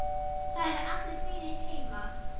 Það eru allir vinir heima.